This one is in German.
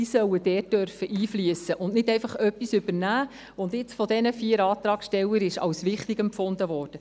Diese sollen dort einfliessen können, anstatt einfach etwas zu übernehmen, das von den vier Antragstellern als wichtig empfunden wird.